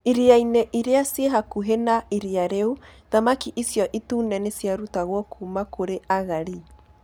Iria-inĩ iria ciĩ hakuhĩ na iria rĩu, thamaki icio itune nĩ ciarutagwo kuuma kũrĩ agalli.